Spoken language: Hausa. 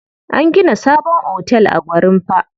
An gina sabon otel a Gwarinpa.